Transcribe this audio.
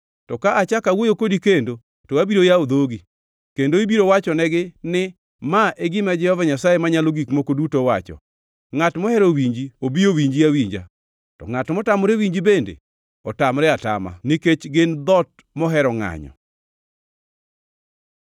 To ka achako awuoyo kodi kendo to abiro yawo dhogi, kendo ibiro wachonegi ni, ‘Ma e gima Jehova Nyasaye Manyalo Gik Moko Duto wacho.’ Ngʼat mohero winji obi owinji awinja, to ngʼat motamore winji bende otamre otama; nikech gin dhoot mohero ngʼanyo.